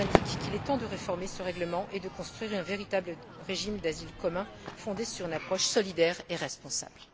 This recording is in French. ils nous indiquent qu'il est temps de réformer ce règlement et de construire un véritable régime d'asile commun fondé sur une approche solidaire et responsable.